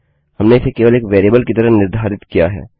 हमने इसे केवल एक वेरिएबल की तरह निर्धारित किया है